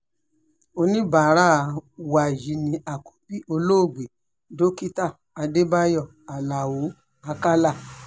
oníbàárà wa yìí ni àkọ́bí olóògbé dókítà adébáyò aláọ̀ àkàlà